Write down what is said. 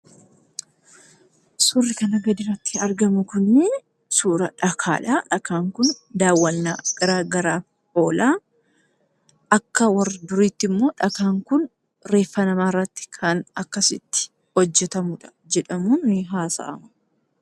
Suurri kana gadi irratti argamu kunii suura dhakaadha. Dhakaan kun daawwannaa gara garaaf oolaa. Akka warra duriitti ammoo dhakaan kun reeffa namaa irratti akkasitti hojjetamudha jedhamuun nihaasa'ama.